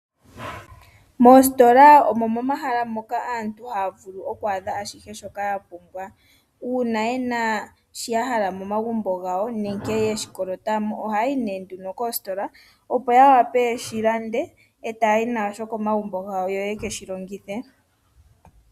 Moositola omo momahala moka aantu haavulu okwaadha ashihe shoka yapumbwa ,uuna yena sho yahala momagumbo gawo nenge yeshikolota mo oha yayi nee nduno koostola opo ya wape yeshi lande etaayi nasho komagumbo gawo yo yekeshi longithe.